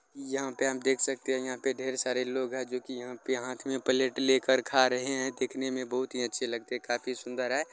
यहाँ पे आप देख सकते है यहाँ पे ढेर सारे लोग हैं जो कि यहाँ पे हाथ में पलेट ले कर खा रहे है देखने में बहुत ही अच्छे लगते काफी सुंदर है।